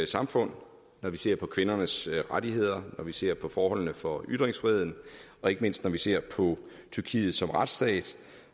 samfund når vi ser på kvindernes rettigheder når vi ser på forholdene for ytringsfriheden og ikke mindst når vi ser på tyrkiet som retsstat